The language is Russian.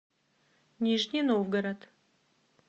нижний новгород